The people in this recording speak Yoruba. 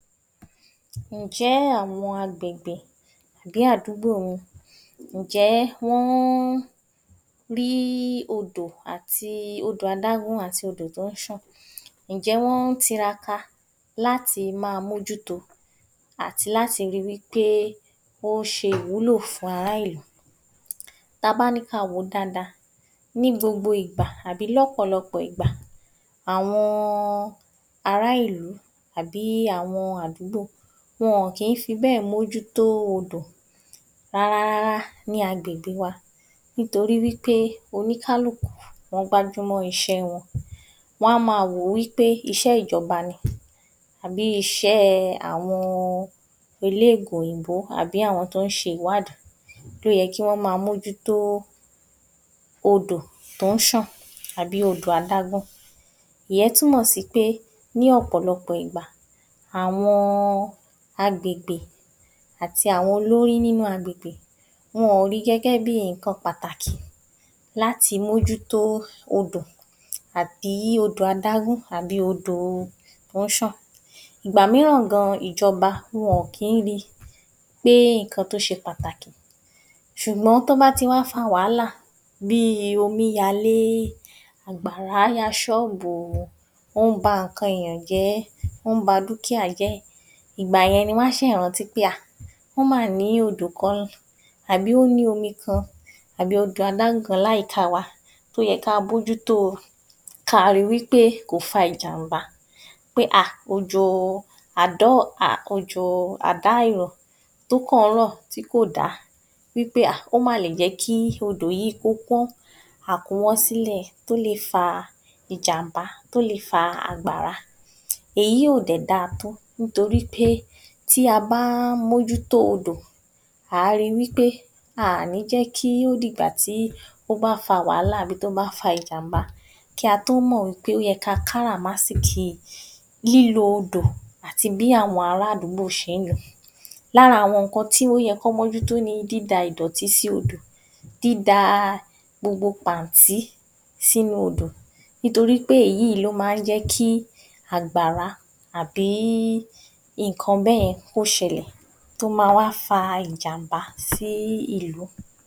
Ǹjẹ́ àwọn agbègbè bí àdúgbò mi, ǹjẹ́ wọ́n rí odò, odò adágún àti odò tó ń ṣàn, ǹjẹ́ wọ́n tiraka láti ma mójú to àti láti ríi wípé ó ṣe ìwúlò fún ará ìlú? Tabá ní ka wòó dada, ní gbogbo ìgbà àbí ní ọ̀pọ̀lọpọ̀ ìgbà àwọn ará ìlú àbí àwọn àdúgbò, wọn ò kín fi bẹ́ẹ̀ mójú tó odò rárá rárá ní agbègbè wa, nítorí wípé oníkálùkù, wọ́n gbájú mọ́ isẹ́ẹ wọn. Wọ́n á ma wòó wípé iṣẹ́ ìjọba ni àbí iṣẹ́ àwọn òlóyìnbó àbí àwọn tó ń ṣe ìwádìí, ló yẹ kí wọ́n ma mójú tó mújú tó odò tó ń ṣàn àbí odò adágún. Ìyẹ́n túnmọ̀ sí pé ní ọ̀pọ̀lọpọ̀ ìgbà, àwọn agbègbè, àti àwọn olórí nínu agbègbè, wọn ò rí gẹ́gẹ́ bí ǹkan pàtàkì láti mójú tó odò àbí odò adágún, àbí odò tó ń ṣàn. Ìgbà míràn gan ìjọba wọn ò kín ri pé ǹkan tó se pàtàkì, ṣùgbọ́n tí ó bá ti wá fa wàhálà, bíi omí yalé, àgbàrá ya ṣọ́bù wọn, ó ń ba ǹkan èyàn jẹ́, ó ń ba dúkíàá jẹ́, ìgbà yẹn ni wọ́n rántí pé, ah! wọ́n mà ní odò kan àbí ó ní omiì, àbí odò adágún kan láyè tí a wà, tó yẹ ká mójú to káa ri wípé kò fa ìjàmbá, pé ah! òjò, òjo àdárọ̀ tó kàn ń rọ̀, tí kò dá wípé ah!, ó mà lè jẹ́ kí odò, kí ó kún, à kún wọ́ sílẹ̀, tó le fa ìjàmbá, tó le fa àgbàrá, èyí ò dẹ̀ dáa tó, nítorí pé tí a bá ń mójú tó odò, ǎ ri pé, a ò ní jẹ́ kí ó dìgbà tí ó bá fa wàhálà, àbí tó bá fa ìjàmbá, kí a tó mọ̀ wípé ó yẹ ká káràmásìkìí lílo odò, àti bí àwọn ará àdúgbò se ń lòó. Lára àwọn oun tí ó yẹ kí wọ́n mójú tó ni dída ìdọ̀tí sí odò, dída gbogbo pàntí sínu odò torí pé èyíì ló ma ń jẹ́kí àgbàrá àbí ǹkan bẹ́yẹn, kó ṣẹlẹ̀ tó ma wá fa ìjàmbá sí ìlú.